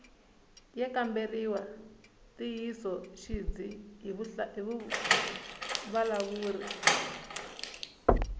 ya kamberiwa ntiyisoxidzi hi vavulavuri